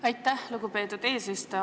Aitäh, lugupeetud eesistuja!